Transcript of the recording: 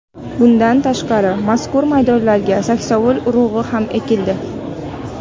Bundan tashqari, mazkur maydonlarga saksovul urug‘i ham ekildi.